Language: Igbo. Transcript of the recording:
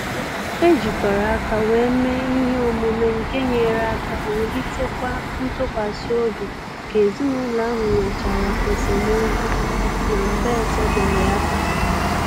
E jikọrọ aka wee mee ihe omume nke nyere aka wulitekwa ntụkwasị obi ka ezinụlọ ahụ nwechara esemokwu na mgbe etebeghị aka